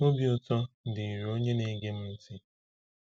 Obi Ụtọ dịrị onye Na-ege m ntị.